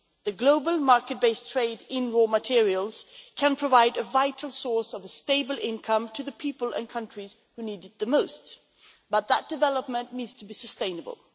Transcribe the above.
The global market based trade in raw materials can provide a vital source of a stable income to the people and countries who need it the most, but that development needs to be sustainable.